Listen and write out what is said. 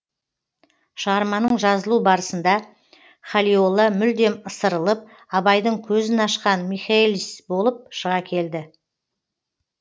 шығарманың жазылу барысында халиолла мүлдем ысырылып абайдың көзін ашқан михэлис болып шыға келді